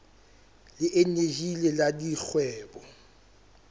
le eneji le la dikgwebo